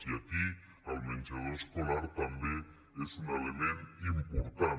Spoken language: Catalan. i aquí el menja·dor escolar també és un element important